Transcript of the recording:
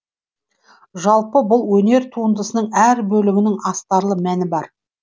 жалпы бұл өнер тундысының әр бөлігінің астарлы мәні бар